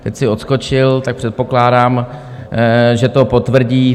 Teď si odskočil, tak předpokládám, že to potvrdí.